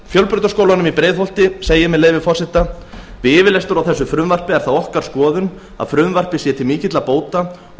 fjölbrautaskólanum í breiðholti segir með leyfi forseta við yfirlestur á þessu frumvarpi er það okkar skoðun að frumvarpið sé til mikilla bóta og